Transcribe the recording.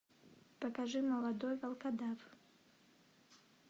покажи молодой волкодав